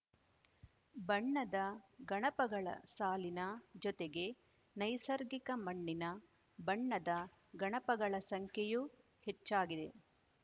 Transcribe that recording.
ಬಣ್ಣದ ಗಣಪಗಳ ಸಾಲಿನ ಜೊತೆಗೆ ನೈಸರ್ಗಿಕ ಮಣ್ಣಿನ ಬಣ್ಣದ ಗಣಪಗಳ ಸಂಖ್ಯೆಯೂ ಹೆಚ್ಚಾಗಿದೆ